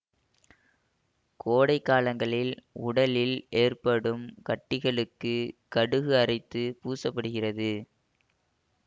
கோடை காலங்களில் உடலில் ஏற்படும் கட்டிகளுக்கு கடுகு அரைத்து பூச படுகிறது